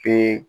Pe